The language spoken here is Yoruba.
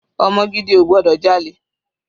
Ọmọ gidi ò gbọdọ̀ jalè.